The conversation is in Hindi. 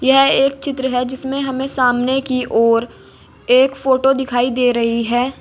यह एक चित्र है जिसमें हमें सामने की ओर एक फोटो दिखाई दे रही है।